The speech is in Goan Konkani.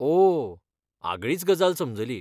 ओह! आगळीच गजाल समजली.